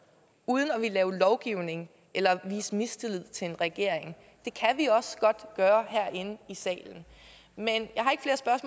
uden at ville lave lovgivning eller vise mistillid til en regering det kan vi også godt gøre herinde i salen men